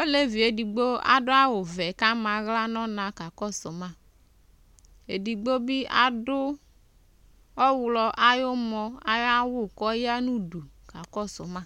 Olevi yɛ edigbo adʋ awʋvɛ kʋ ama aɣla nʋ ɔna kakɔsʋ ma Edigbo bɩ adʋ ɔɣlɔ ayʋ ʋmɔ ayʋ awʋ kʋ ɔya nʋ udu kakɔsʋ ma